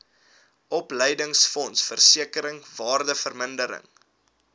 opleidingsfonds versekering waardevermindering